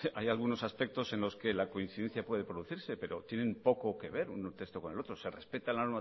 hay algunos aspectos en los que la coincidencia puede producirse pero tienen poco que ver un texto con el otro se respeta